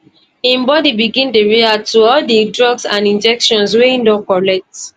im bodi begin dey react to all di drugs and injections wey e don collect